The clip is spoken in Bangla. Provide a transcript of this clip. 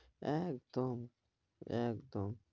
একদম একদম